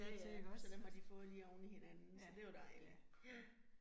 Ja ja, så dem har de fået lige oveni hinanden, så det jo dejligt. Ja